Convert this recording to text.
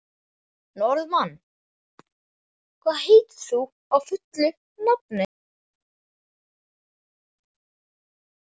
Norðmann, hvað heitir þú fullu nafni?